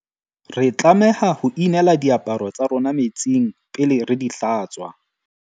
Re tlameha ho inela diaparo tsa rona metsing pele re di hlatswa.